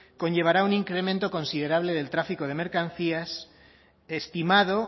conllevará un incremento considerable del tráfico de mercancías estimado